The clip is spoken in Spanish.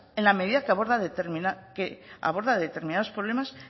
en la medida que aborda determinados problemas